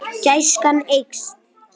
Gæskan eykst.